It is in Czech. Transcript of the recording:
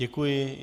Děkuji.